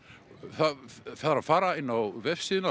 það þarf að fara inn á vefsíðuna